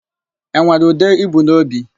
E nwere ude i bu n'obi?